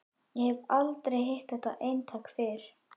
Ég hef aldrei hitt þetta eintak fyrr.